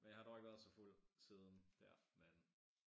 Men jeg har dog ikke været så fuld siden dér men